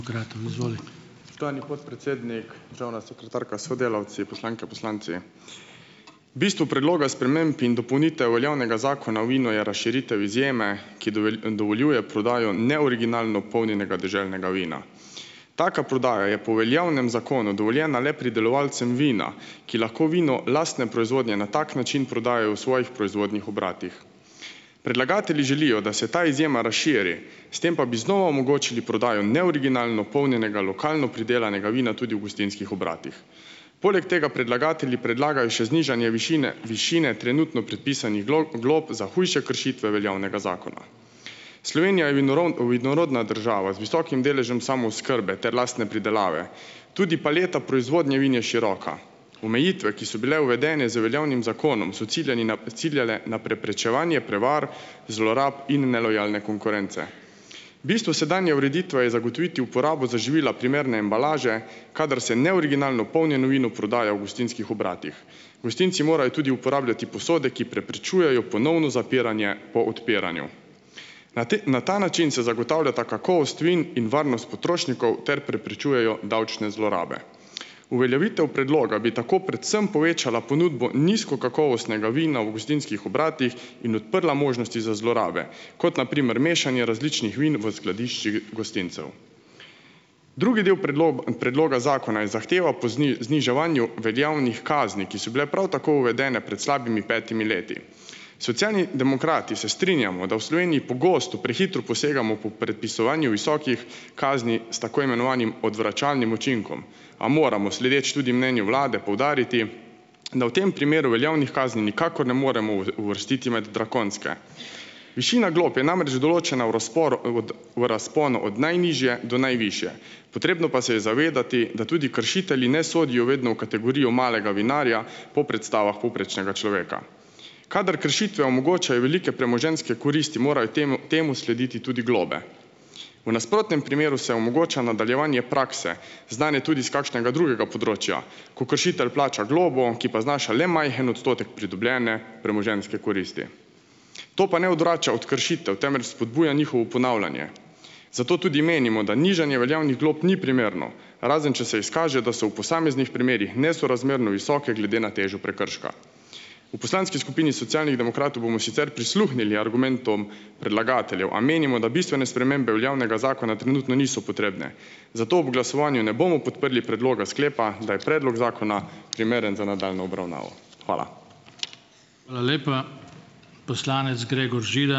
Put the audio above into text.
Spoštovani podpredsednik, državna sekretarka s sodelavci, poslanke, poslanci! Bistvo predloga sprememb in dopolnitev veljavnega zakona o vinu je razširitev izjeme, ki dovoljuje prodajo neoriginalno polnjenega deželnega vina. Taka prodaja je po veljavnem zakonu dovoljena le pridelovalcem vina, ki lahko vino lastne proizvodnje na tak način prodajajo v svojih proizvodnih obratih. Predlagatelji želijo, da se ta izjema razširi, s tem pa bi znova omogočili prodajo neoriginalno polnjenega lokalno pridelanega vina tudi v gostinskih obratih. Poleg tega predlagatelji predlagajo še znižanje višine višine trenutno predpisanih glog glob za hujše kršitve veljavnega zakona. Slovenija je vinorodna država z visokim deležem samooskrbe ter lastne pridelave, tudi paleta proizvodnje vin je široka. Omejitve, ki so bile uvedene z veljavnim zakonom, so ciljani na ciljale na preprečevanje prevar, zlorab in nelojalne konkurence. Bistvo sedanje ureditve je zagotoviti uporabo za živila primerne embalaže, kadar se neoriginalno polnjeno vino prodaja v gostinskih obratih. Gostinci morajo tudi uporabljati posode, ki preprečujejo ponovno zapiranje po odpiranju. Na ta na ta način se zagotavljata kakovost vin in varnost potrošnikov ter prepričujejo davčne zlorabe. Uveljavitev predloga bi tako predvsem povečala ponudbo nizkokakovostnega vina v gostinskih obratih in odprla možnosti za zlorabe, kot na primer mešanje različnih vin v skladiščih gostincev. Drugi del predloga zakona je zahteva po zniževanju veljavnih kazni, ki so bile prav tako uvedene pred slabimi petimi leti. Socialni demokrati se strinjamo, da v Sloveniji pogosto prehitro posegamo po predpisovanju visokih kazni s tako imenovanim odvračalnim učinkom, a moramo sledeč tudi mnenju vlade poudariti, da v tem primeru veljavnih kazni nikakor ne moremo uvrstiti med drakonske. Višina glob je namreč določena v razporu od v razponu od najnižje do najvišje, potrebno pa se je zavedati, da tudi kršitelji ne sodijo vedno v kategorijo malega vinarja po predstavah povprečnega človeka. Kadar kršitve omogočajo velike premoženjske koristi, morajo temu temu slediti tudi globe. V nasprotnem primeru se omogoča nadaljevanje prakse, znane tudi iz kakšnega drugega področja, ko kršitelj plača globo, ki pa znaša le majhen odstotek pridobljene premoženjske koristi. To pa ne odvrača od kršitev, temveč spodbuja njihovo ponavljanje. Zato tudi menimo, da nižanje veljavnih glob ni primerno, razen če se izkaže, da so v posameznih primerih nesorazmerno visoke glede na težo prekrška. V poslanski skupini Socialnih demokratov bomo sicer prisluhnili argumentom predlagateljev, a menimo, da bistvene spremembe veljavnega zakona trenutno niso potrebne. Zato ob glasovanju ne bomo podprli predloga sklepa, da je predlog zakona primeren za nadaljnjo obravnavo. Hvala.